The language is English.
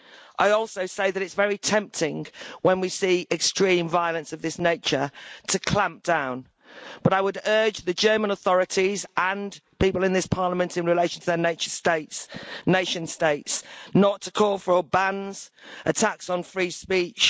I also say that, while it's very tempting when we see extreme violence of this nature to clamp down, I would urge the German authorities and the people in this Parliament in relation to their nation states not to call for bans or attacks on free speech.